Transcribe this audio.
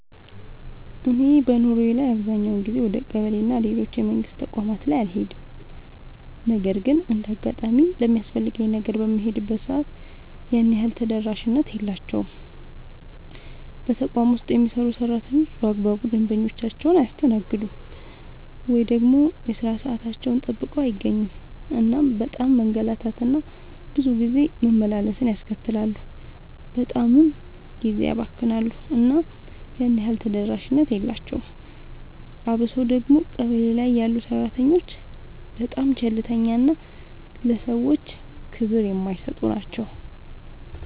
እኔ በኑሮዬ ላይ አብዛኛውን ጊዜ ወደ ቀበሌ እና ሌሎች የመንግስት ተቋማት ላይ አልሄድም ነገር ግን እንደ አጋጣሚ ለሚያስፈልገኝ ነገር በምሄድበት ሰዓት ያን ያህል ተደራሽነት የላቸውም። በተቋም ውስጥ የሚሰሩ ሰራተኞች በአግባቡ ደንበኞቻቸውን አያስተናግዱም። ወይ ደግሞ የሥራ ሰዓታቸውን ጠብቀው አይገኙም እናም በጣም መንገላታት እና ብዙ ጊዜ መመላለስን ያስከትላሉ በጣምም ጊዜ ያባክናሉ እና ያን ያህል ተደራሽነት የላቸውም። አብሶ ደግሞ ቀበሌ ላይ ያሉ ሰራተኞች በጣም ቸልተኛ እና ለሰዎች ክብር የማይሰጡ ናቸው።